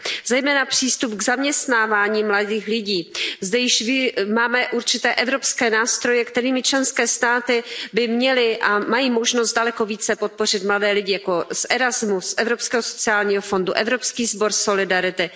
Zejména přístup k zaměstnávání mladých lidí zde již máme určité evropské nástroje, kterými členské státy by měly a mají možnost daleko více podpořit mladé lidi, jako jsou Erasmus, Evropský sociální fond, Evropský sbor solidarity.